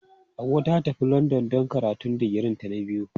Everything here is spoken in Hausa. Hauwa ta tafi London don karatun digirinta na biyu.